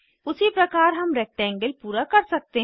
उसी प्रकार हम रेक्टेंगल पूरा कर सकते हैं